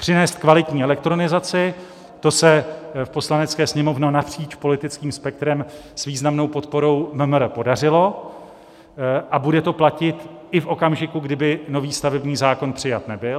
Přinést kvalitní elektronizaci, to se v Poslanecké sněmovně napříč politickým spektrem s významnou podporou MMR podařilo a bude to platit i v okamžiku, kdy by nový stavební zákon přijat nebyl.